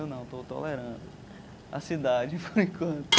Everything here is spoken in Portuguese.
Eu não, estou tolerando a cidade, por enquanto.